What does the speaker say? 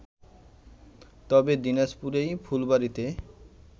তবে দিনাজপুরেই ফুলবাড়িতে